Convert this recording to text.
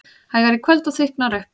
Hægari í kvöld og þykknar upp